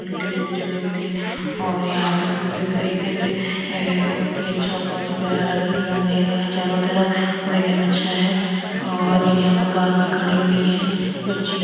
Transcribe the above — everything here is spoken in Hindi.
जो जगह होती है और यहाँ पर पूरी तरीके से अ है बहुत ही अच्छा और बहुत ही प्यारा लग रहा है। यहाँ अंधेरा है चारों तरफ और देखने में अच्छा है और यहाँ पर कार भी खड़ी हुई है जो ची --